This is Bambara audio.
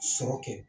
Sɔrɔ kɛ